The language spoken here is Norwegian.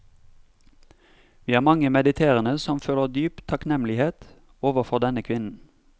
Vi er mange mediterende som føler dyp takknemliget overfor denne kvinnen.